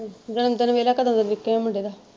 ਜਨਮਦਿਨ ਵੇਖਲਾ ਕਦੋਂ ਦਾ ਮੁੰਡੇ ਦਾ।